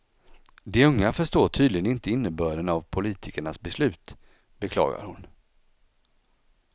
De unga förstår tydligen inte innebörden av politikernas beslut, beklagar hon.